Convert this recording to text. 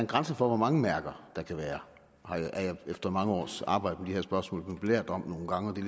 grænse for hvor mange mærker der kan være er jeg efter mange års arbejde med de her spørgsmål nu belært om nogle gange og det